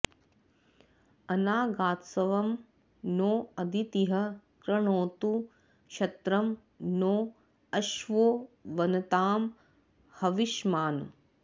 अनागास्त्वं नो अदितिः कृणोतु क्षत्रं नो अश्वो वनतां हविष्मान्